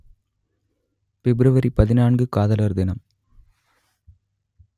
பிப்ரவரி பதினான்கு காதலர் தினம்